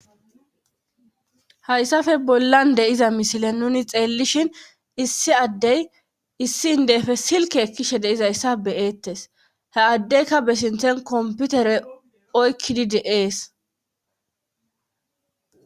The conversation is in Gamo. hayssafe bollan deiza misile nuni xeellishin issi addey issi ndeefe silke ekkishe deizayssa beyeettes he addeyka be sinthen komputere oykkidi deees